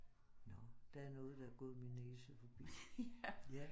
Nåh der er noget der er gået min næse forbi